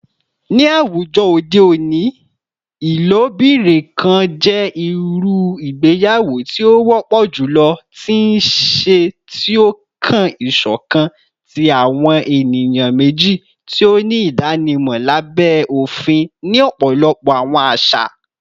Ni awujọ ode oni, ilobirin kan jẹ iru igbeyawo ti o wọpọ julọ ti nṣe, ti o kan iṣọkan ti awọn eniyan meji ti o ni idanimọ labẹ ofin ni ọpọlọpọ awọn aṣa.